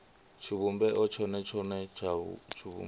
tshivhumbeo tshone tshone ya tshivhumbeo